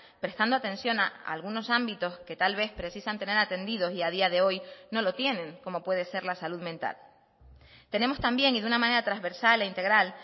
prestando atención a algunos ámbitos que tal vez precisan tener atendidos y a día de hoy no lo tienen como puede ser la salud mental tenemos también y de una manera transversal e integral